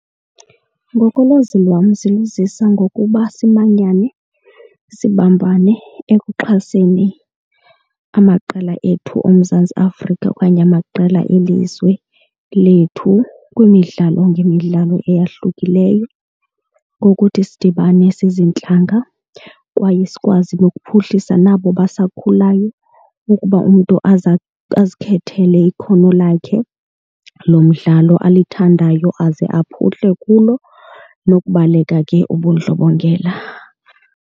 Ngokolwazi lwam ziluzisa ngokuba simanyane, sibambane ekuxhaseni amaqela ethu oMzantsi Afrika okanye amaqela elizwe lethu kwimidlalo ngemidlalo eyahlukileyo ngokuthi sidibane siziintlanga. Kwaye sikwazi nokuphuhlisa nabo basakhulayo ukuba umntu aze azikhethele ikhono lakhe lomdlalo alithandayo aze aphuhlile kulo, nokubaleka ke ubundlobongela.